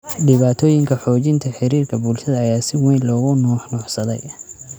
Dhibaatooyinka xoojinta xiriirka bulshada ayaa si weyn loogu nuuxnuuxsaday.